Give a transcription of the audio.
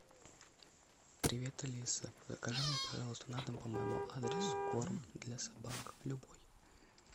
привет алиса закажи мне пожалуйста на дом по моему адресу корм для собак любой